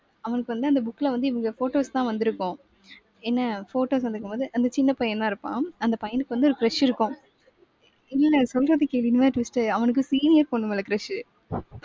அவனுக்கு வந்து அந்த book ல வந்து இவங்க photos தான் வந்திருக்கும். என்ன photos வந்திருக்கும் போது அந்த சின்னப் பையந்தான் இருப்பான். அந்த பையனுக்கு வந்து ஒரு crush இருக்கும். இல்ல, சொல்றத கேளு, இனிமே தா twist ஏ அவனுக்கு senior பொண்ணு மேல crush உ